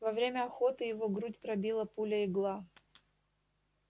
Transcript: во время охоты его грудь пробила пуля-игла